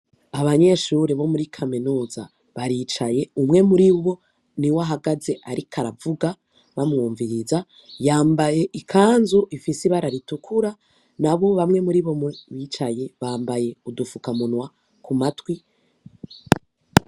Abanyeshuri bo muri kaminuza baricaye, umwe muribo niwe ahagaze ariko aravuga bamwumviriza yambaye ikanzu ifise ibara ritukura nabo mubicaye bambaye udufukamunwa kumatwi.